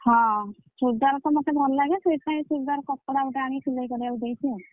ହଁ ଚୁଡିଦାର ତ ମତେ ଭଲ ଲାଗେ ସେଇଥିପାଇଁ ଚୁଡିଦାର କପଡ଼ା ଗୋଟେ ଆଣିକି ସିଲେଇ କରିବାକୁ ଦେଇଛି ଆଉ।